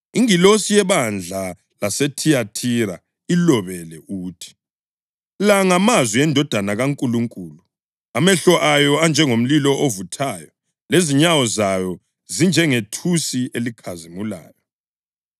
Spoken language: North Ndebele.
“Ingilosi yebandla laseThiyathira ilobele uthi: La ngamazwi eNdodana kaNkulunkulu, emehlo ayo anjengomlilo ovuthayo lezinyawo zayo zinjengethusi elikhazimulayo.